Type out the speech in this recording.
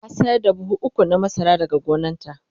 ta sayar da buhu ukwu na masara daga gonanta